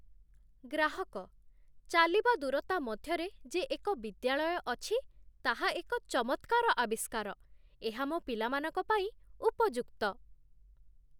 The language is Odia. ଗ୍ରାହକ, ଚାଲିବା ଦୂରତା ମଧ୍ୟରେ ଯେ ଏକ ବିଦ୍ୟାଳୟ ଅଛି, ତାହା ଏକ ଚମତ୍କାର ଆବିଷ୍କାର। ଆଉ ମୋ ପିଲାମାନଙ୍କ ପାଇଁ ଉପଯୁକ୍ତ।